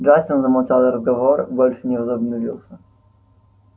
джастин замолчал и разговор больше не возобновился